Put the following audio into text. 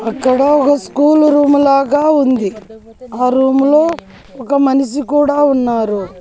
అక్కడ ఒగ school room లాగా ఉంది ఆ రూములో ఒక మనిషి కూడా ఉన్నారు.